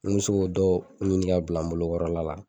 Ni n m'o so k'o dɔw ɲini ka bila n bolo kɔrɔ la la.